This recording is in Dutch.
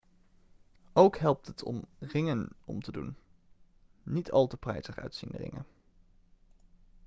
ook helpt het om ringen om te doen niet al te prijzig uitziende ringen